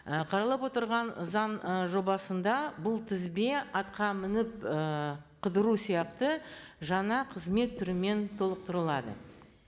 і қаралып отырған заң і жобасында бұл тізбе атқа мініп ііі қыдыру сияқты жаңа қызмет түрімен толықтырылады